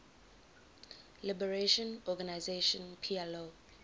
liberation organization plo